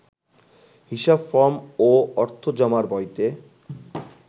হিসাব ফরম ও অর্থ জমার বইতে